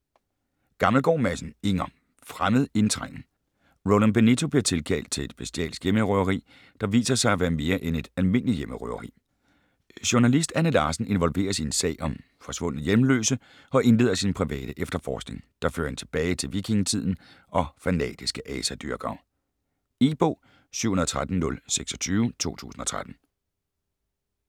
Gammelgaard Madsen, Inger: Fremmed indtrængen Roland Benito bliver tilkaldt til et bestialsk hjemmerøveri, der viser sig at være mere end et almindeligt hjemmerøveri. Journalist Anne Larsen involveres i en sag om forsvundne hjemløse og indleder sin private efterforskning, der fører hende tilbage til vikingetiden og fanatiske asadyrkere. E-bog 713026 2013.